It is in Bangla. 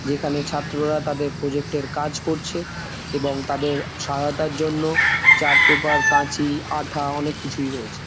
যেখানে ছাত্ররা তাদের প্রজেক্ট এর কাজ করছে এবং তাদের সহায়তার জন্য চার্ট পেপার কাঁচি আঠা অনেক কিছুই রয়েছে।